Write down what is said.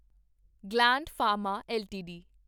gland Pharma LTD